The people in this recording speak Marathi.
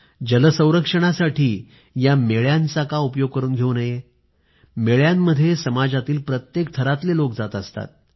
जल संरक्षणासाठी या जत्रांचा का उपयोग करून घेऊ नये जत्रांमध्ये समाजातील प्रत्येक थरातले लोक जात असतात